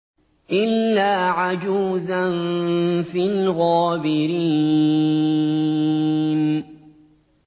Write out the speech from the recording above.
إِلَّا عَجُوزًا فِي الْغَابِرِينَ